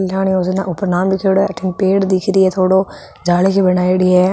कल्याण योजना ऊपर नाम लीखेड़ो है अठीने पेड़ दिखरो थोड़ो जाली सी बनाईडी है।